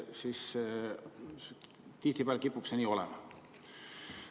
Tihtipeale kipub see nii olema.